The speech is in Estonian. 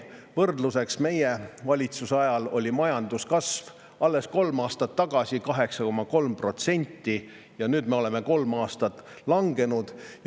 Võrdluseks: meie valitsuse ajal oli majanduskasv alles kolm aastat tagasi 8,3%, nüüdseks oleme kolm aastat langenud.